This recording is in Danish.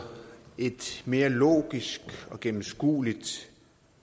et mere logisk og gennemskueligt